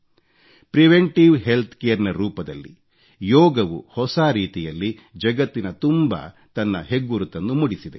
preventive healthcare ನ ರೂಪದಲ್ಲಿ ಯೋಗವು ಹೊಸ ರೀತಿಯಲ್ಲಿ ಜಗತ್ತಿನ ತುಂಬಾ ತನ್ನ ಹೆಗ್ಗುರುತನ್ನು ಮೂಡಿಸಿದೆ